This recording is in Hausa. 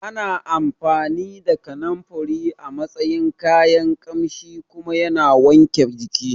Ana amfani da Kananfari a matsayin kayan Ƙamshi kuma yana wanke jiki